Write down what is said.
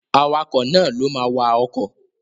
Awakọ̀ náà ló ma wa ọkọ̀